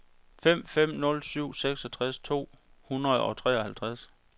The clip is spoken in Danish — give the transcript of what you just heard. fem fem nul syv seksogtres to hundrede og treoghalvtreds